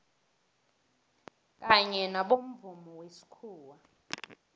kanye nobomvumo wesikhuwa